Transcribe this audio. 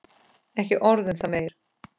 Ekki orð um það meir.